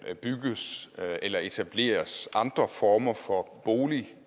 kan bygges eller etableres andre former for boliger